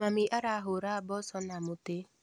Mami arahũra mboco na mũtĩ.